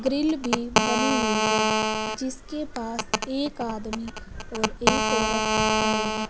Grill भी बनी हुई है जिसके पास एक आदमी और एक औरत खड़े हैं।